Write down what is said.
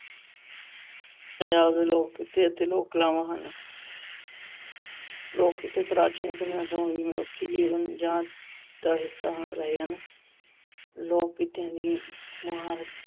ਪੰਜਾਬ ਦੇ ਲੋਕ ਕਿੱਤੇ ਅਤੇ ਲੋਕ ਕਲਾਵਾਂ ਹਨ। ਲੋਕ ਕਿੱਤੇ ਪ੍ਰਾਚੀਨ ਸਮੇਂ ਤੋਂ ਹੀ ਮਨੁੱਖੀ ਜਾਂਚ ਦਾ ਆਹ ਹਿੱਸਾ ਰਹੇ ਹਨ। ਲੋਕ ਕਿੱਤਿਆਂ ਦੀ ਮੁਹਾਰਤ